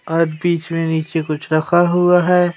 और बीच में नीचे कुछ रखा हुआ है।